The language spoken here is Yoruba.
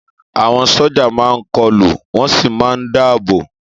Àwọn sójà máa n kọlu wọ́n sì máa n dáàbò